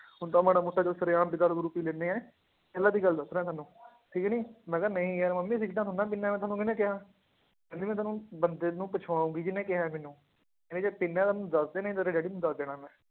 ਹੁਣ ਤਾਂ ਮਾੜਾ ਮੋਟਾ ਚੱਲ ਸ਼ੇਰਆਮ ਵੀ ਦਾਰੂ ਦੂਰੂ ਪੀ ਲੈਂਦੇ ਹੈ, ਪਹਿਲਾਂ ਦੀ ਗੱਲ ਦੱਸ ਰਿਹਾਂ ਤੁਹਾਨੂੰ ਠੀਕ ਨੀ ਮੈਂ ਕਿਹਾ ਨਹੀਂ ਯਾਰ ਮੰਮੀ ਸਿਗਰਟਾਂ ਥੋੜ੍ਹੀ ਨਾ ਪੀਨਾ ਮੈਂ, ਤੁਹਾਨੂੰ ਕਿਹਨੇੇ ਕਿਹਾ, ਕਹਿੰਦੀ ਮੈਂ ਤੈਨੂੰ ਬੰਦੇ ਨੂੰ ਪੁੱਛਵਾਊਂਗੀ ਜਿੰਨੇ ਕਿਹਾ ਹੈ ਮੈਨੂੰ, ਕਹਿੰਦੀ ਜੇ ਪੀਨਾ ਹੈ ਤਾਂ ਮੈਨੂੰ ਦੱਸ ਦੇ, ਨਹੀਂ ਤੇਰੇ ਡੈਡੀ ਨੂੰ ਦੱਸ ਦੇਣਾ ਹੈ ਮੈਂ